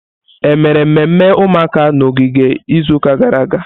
Ememe mmemme ụmụaka n'ogige izuụka gara aga?